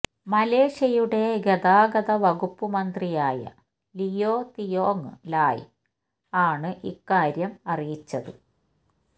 മലേഷ്യയുടെ ഗതാഗതവകുപ്പു മന്ത്രിയായ ലിയോ തിയോങ്ങ് ലായ് ആണ് ഇക്കാര്യം അറിയിച്ചത്